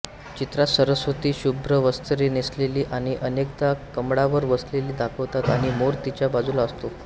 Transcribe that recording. चित्रात सरस्वती शुभ्र वस्त्रे नेसलेली आणि अनेकदा कमळावर बसलेली दाखवतात आणि मोर तिच्या बाजूला असतो